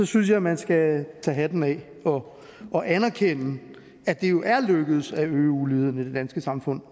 synes jeg at man skal tage hatten af og anerkende at det jo er lykkedes at øge uligheden i det danske samfund